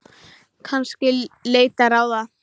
Kannski leita ráða.